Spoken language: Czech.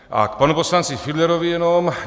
A k panu poslanci Fiedlerovi jenom.